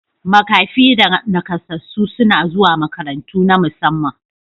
Makafi da nakasassu suna zuwa makarantu na musamman.